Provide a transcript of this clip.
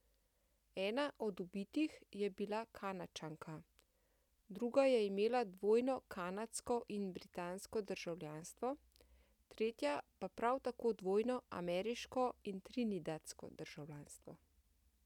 Ena od ubitih je bila Kanadčanka, druga je imela dvojno kanadsko in britansko državljanstvo, tretja pa prav tako dvojno ameriško in trinidadsko državljanstvo.